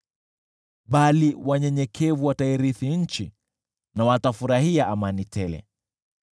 Bali wanyenyekevu watairithi nchi na wafurahie amani tele.